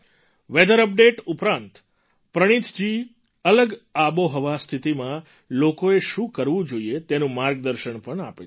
weather update ઉપરાંત પ્રનીથજી અલગ આબોહવા સ્થિતિમાં લોકોએ શું કરવું જોઈએ તેનું માર્ગદર્શન પણ આપે છે